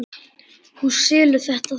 Þú selur þetta þá?